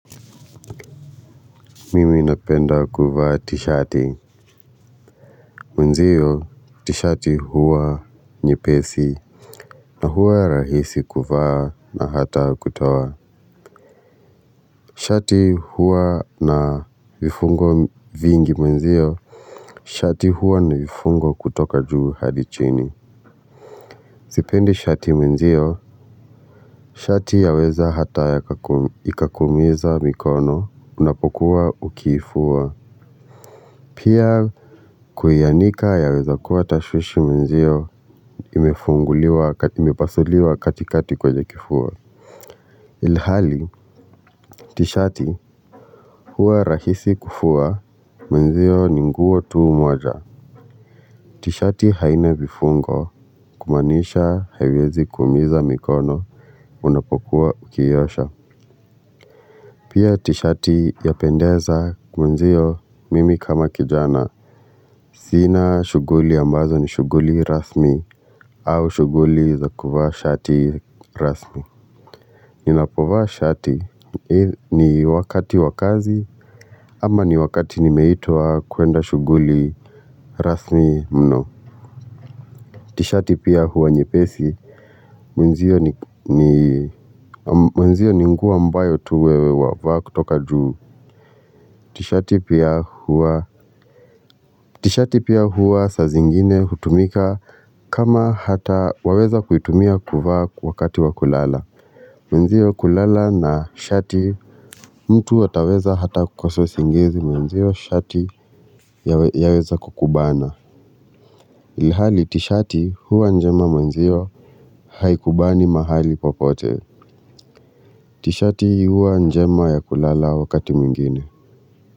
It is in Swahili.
Mimi napenda kuvaa t-shati mwenzio t-shati huwa nyepesi na huwa rahisi kuvaa na ata kutoa shati huwa na vifungo vingi mwenzio shati huwa na vifungo kutoka juu hadi chini sipendi shati mwenzio, shati yaweza ata ikakuumiza mikono unapokuwa ukiifua pia kuianika yaweza kuwa tashwishi mwenzio imepasuliwa katikati kwenye kifua ilhali tishati huwa rahisi kufua mwenzio ni nguo tu moja tishati haina vifungo kumaanisha haiwezi kuumiza mikono unapokuwa ukiiosha pia tishati yapendeza mwenzio mimi kama kijana sina shuguli ambazo ni shuguli rasmi au shuguli za kuvaa shati rasmi. Ninapovaa shati ni wakati wa kazi ama ni wakati nimeitwa kuenda shuguli rasmi mno tishati pia huwa nyepesi mwenzio ni mwenzio ni nguo ambayo tu wewe wavaa kutoka juu tishati pia huwa tishati pia huwa saa zingine hutumika kama hata waweza kuitumia kuvaa wakati wa kulala mwenzio kulala na shati mtu ataweza ata kukosa usingizi mwenzio shati yaweza kukubana. Ilihali tishati huwa njema mwenzio. Haikubani mahali popote tishati huwa njema ya kulala wakati mwingine.